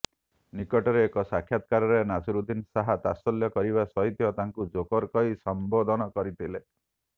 ନିକଟରେ ଏକ ସାକ୍ଷାତକାରରେ ନାସିରୁଦ୍ଦିନ ଶାହ ତାତ୍ସଲ୍ୟ କରିବା ସହିତ ତାଙ୍କୁ ଜୋକର କହି ସମ୍ବୋଧନ କରିଥିଲେ